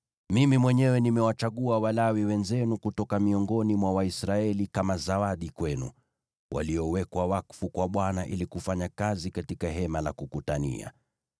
Mimi mwenyewe nimewachagua Walawi wenzenu kutoka miongoni mwa Waisraeli kama zawadi kwenu, waliowekwa wakfu kwa Bwana ili kufanya kazi katika Hema la Kukutania.